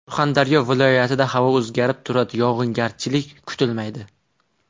Surxondaryo viloyat ida havo o‘zgarib turadi, yog‘ingarchilik kutilmaydi.